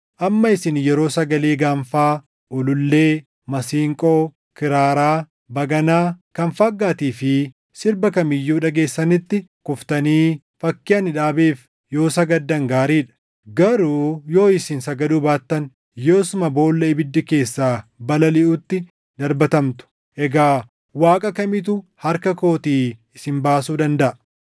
Amma isin yeroo sagalee gaanfaa, ulullee, masiinqoo, kiraaraa, baganaa, kan faaggaatii fi sirba kam iyyuu dhageessanitti kuftanii fakkii ani dhaabeef yoo sagaddan gaarii dha. Garuu yoo isin sagaduu baattan, yoosuma boolla ibiddi keessaa balaliʼutti darbatamtu. Egaa waaqa kamitu harka kootii isin baasuu dandaʼa?”